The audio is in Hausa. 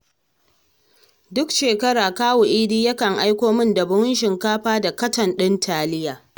Duk shekara kawu Idi yakan aiko min da buhun shinkafa da katon ɗin taliya